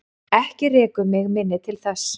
Ekki rekur mig minni til þess.